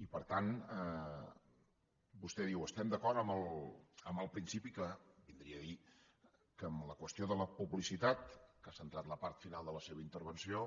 i per tant vostè diu estem d’acord en el principi que vindria a dir que en la qüestió de la publicitat que ha centrat la part final de la seva intervenció